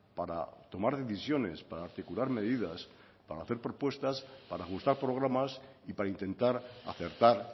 para tomar decisiones para articular medidas para hacer propuestas para ajustar programas y para intentar acertar